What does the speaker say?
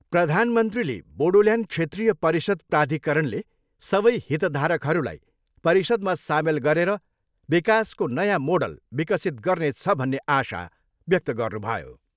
प्रधानमन्त्रीले बोडोल्यान्ड क्षेत्रीय परिषद् प्राधिकरणले सबै हितधारकहरूलाई परिषद्मा सामेल गरेर विकासको नयाँ मोडल विकसित गर्नेछ भन्ने आशा व्यक्त गर्नुभयो।